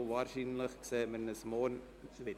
Wahrscheinlich sehen wir uns morgen wieder.